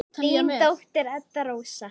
Þín dóttir, Edda Rósa.